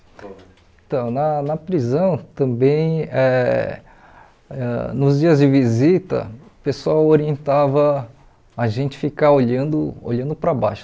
Então, na na prisão também, ãh ãh nos dias de visita, o pessoal orientava a gente ficar olhando olhando para baixo.